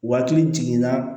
Waati jiginna